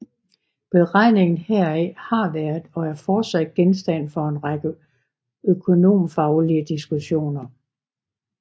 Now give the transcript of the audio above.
Beregningen heraf har været og er fortsat genstand for en række økonomfaglige diskussioner